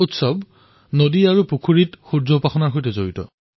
ষঠ পৰ্ব নদী পুখুৰীত সূৰ্য উপাসনাৰ সৈতে জড়িত